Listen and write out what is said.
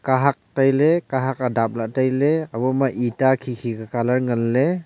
kahad tai ley kahad a dap lah ley tai ley ebo ma ita khi khi ku colour ngan ley.